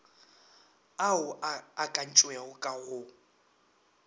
ao a akantšwego ka go